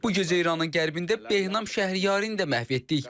Bu gecə İranın qərbində Behnam Şəhriyarini də məhv etdik.